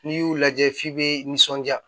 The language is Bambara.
N'i y'u lajɛ f'i bɛ nisɔndiya